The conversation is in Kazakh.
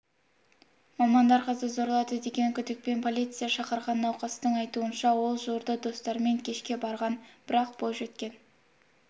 мамандар қызды зорлады деген күдікпен полиция шақырған науқастың айтуынша ол жуырда достарымен кешке барған бірақ бойжеткен